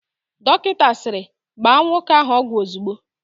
Dọkịta sịrị, "gbaa nwoke ahụ ọgwụ ozigbo"!